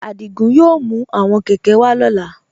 Adígún yóò mú àwọn kẹ̀kẹ̀ wà lọla.